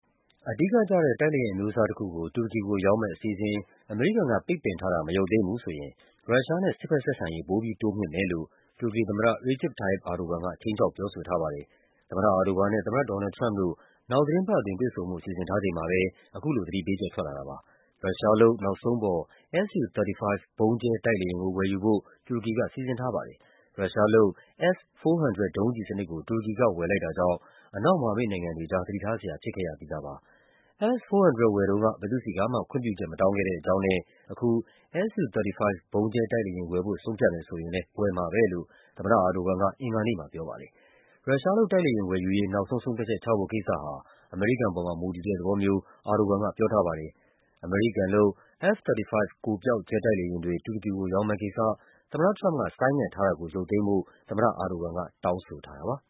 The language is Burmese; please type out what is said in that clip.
အဓိကကျတဲ့ တိုက်လေယာဉ် အမျိုးအစားတခုကို တူရကီကို ရောင်းမယ့်အစီအစဉ် အမေရိကန် ပိတ်ပင်ထားတာ မရုပ်သိမ်းဘူးဆိုရင် ရုရှားနဲ့ စစ်ဘက်ဆက်ဆံရေး ပိုပြီးတိုးမြှင့်မယ်လို့ တူရကီသမ္မတ Recep Tayyip Erdogan က ခြိမ်းခြောက် ပြောဆိုထားပါတယ်။ သမ္မတ Erdgoan နဲ့ သမ္မတ ဒေါ်နယ်လ်ဒ် ထရမ့်ပ်တို့ နောက်သီတင်းပတ်အတွင်း တွေ့ဆုံဖို့ စီစဉ်ထားချိန်မှာပဲ အခုလို သတိပေး ချက်ထွက်လာတာပါ။ ရုရှားလုပ် နောက်ဆုံးပေါ် Su-35 ဗုံးကျဲ တိုက်လေယာဉ်ကို ဝယ်ယူဖို့ တူရကီက စီစဉ်ထားပါတယ်။ ရုရှား လုပ် S-400 ဒုံးကျည်စနစ်ကို တူရကီက ဝယ်ယူလိုက်တာကြောင့် အနောက် မဟာမိတ်နိုင်ငံတွေ သတိထားစရာ ဖြစ်ခဲ့ရပြီးသားပါ။ S-400 ဝယ်တုန်းက ဘယ်သူ့ဆီကမှ ခွင့်ပြုချက်မတောင်းခဲ့တဲ့ အကြောင်းနဲ့ အခု Su-35 ဗုံးကျဲ တိုက်လေယာဉ်ဝယ်ဖို့ ဆုံးဖြတ်မယ် ဆိုရင်လည်း ဝယ်မှာပဲလို့ သမ္မတ Erdogan က အင်္ဂါနေ့မှာပြောပါတယ်။ ရုရှားလုပ် တိုက်လေယာဉ်ဝယ်ယူရေး နောက်ဆုံး ဆုံးဖြတ်ချက် ချဖို့ကိစ္စဟာ အမေရိကန်ပေါ်မှာ မူတည်တဲ့သဘောမျိုး Erdogan က ပြောထားပါတယ်။ အမေရိကန်လုပ် F-35 ကိုယ်ပျောက် ဂျက်တိုက်လေယာဉ်တွေ တူရကီကို ရောင်းမယ့်ကိစ္စ သမ္မတထရမ့်ပ် က ဆိုင်းငံ့ထားတာကို ရုပ်သိမ်းဖို့ သမ္မတ Erdogan က တောင်းဆိုထားတာပါ